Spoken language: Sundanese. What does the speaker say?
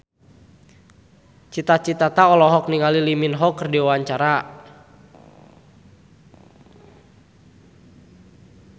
Cita Citata olohok ningali Lee Min Ho keur diwawancara